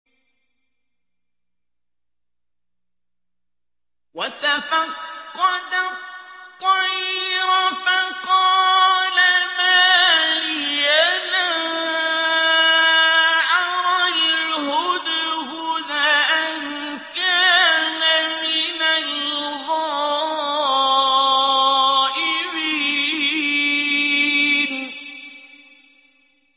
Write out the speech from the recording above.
وَتَفَقَّدَ الطَّيْرَ فَقَالَ مَا لِيَ لَا أَرَى الْهُدْهُدَ أَمْ كَانَ مِنَ الْغَائِبِينَ